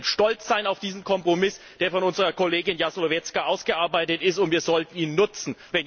Wir können stolz sein auf diesen Kompromiss, der von unserer Kollegin Jazłowiecka ausgearbeitet wurde, und wir sollten ihn nutzen.